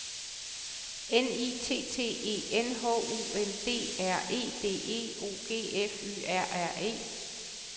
N I T T E N H U N D R E D E O G F Y R R E